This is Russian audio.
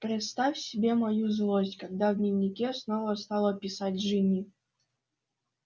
представь себе мою злость когда в дневнике снова стала писать джинни